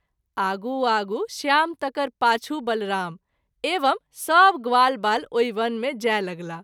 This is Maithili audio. आगू आगू श्याम तकर पाछू बलराम एवं सभ ग्वालवाल ओहि वन मे जाय लगलाह।